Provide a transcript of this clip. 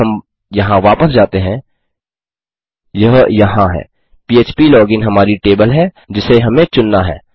यदि हम यहाँ वापस जाते हैं यह यहाँ है पह्प लोगिन हमारी टेबल है जिसे हमें चुनना है